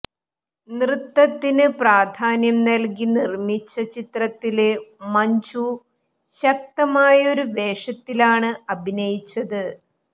നൃത്തത്തിന് പ്രധാന്യം നല്കി നിര്മ്മിച്ച ചിത്രത്തില് മഞ്ജു ശക്തമായൊരു വേഷത്തിലാണ് അഭിനയിച്ചത്